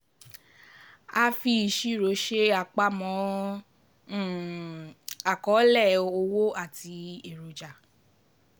A um fi ìṣirò ṣe àpamọ́ um àkọọ́lẹ̀ owó àti eroja.